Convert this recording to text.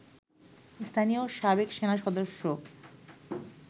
স্থানীয় সাবেক সেনাসদস্য